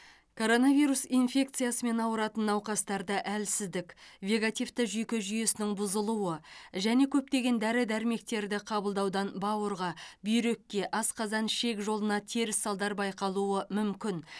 коронавирус инфекциямен ауыратын науқастарда әлсіздік вегетативті жүйке жүйесінің бұзылуы және көптеген дәрі дәрмектерді қабылдаудан бауырға бүйрекке асқазан ішек жолына теріс салдар байқалуы мүмкін